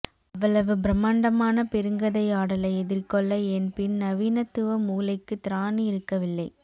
அவ்வளவு பிரம்மாண்டமான பெருங்கதையாடலை எதிர்கொள்ள என் பின்நவீனத்துவ மூளைக்குத் திராணி இருக்கவில்லை